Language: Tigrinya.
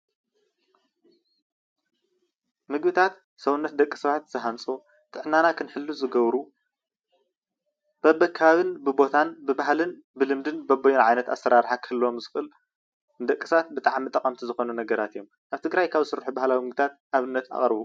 ምግብታት ሰውነት ደቂ ሰባት ዝሃንፁ፣ ጥዕናና ክንሕሉ ዝገብሩ በብከባብን፣ ብቦታን፣ ብባህልን ፣ብልምድን በበይኑ ዓይነት ኣሰራርሓ ክህልዎም ዝኽእል ንደቂሰባት ብጣዕሚ ጠቐምቲ ዝኾኑ ነገራት'ዮም ኣብ ትግራይ ካብ ስርሑ ባህላዊ ምግብታት ኣብነት ኣቕርቡ።